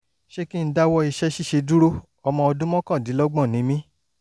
ṣé kí n dáwọ́ iṣẹ́ ṣíṣe dúró? ọmọ ọdún mọ́kàndínlọ́gbọ̀n ni mí